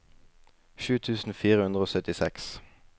sju tusen fire hundre og syttiseks